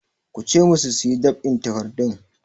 Ku ce masu su yi ɗab'in takardun!